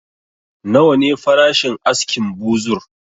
Nawa ne farashin askin buzur?